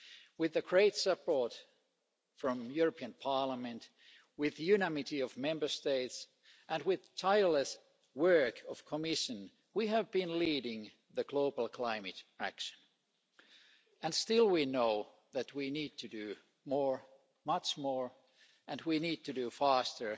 With the great support from the European Parliament, with the unanimity of Member States and with the tireless work of the Commission, we have been leading global climate action, and still we know that we need to do more much more and we need to do it faster